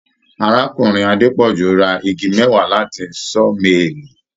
Arákùnrin Adepoju rà igi mẹwa láti sawmaili.